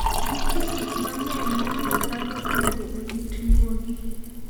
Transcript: Nitie gik mang'eny momiyo dhano onego orit nyuogi.